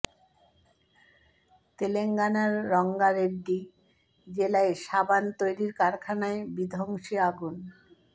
তেলেঙ্গানার রঙ্গা রেড্ডি জেলায় সাবান তৈরির কারখানায় বিধ্বংসী আগুন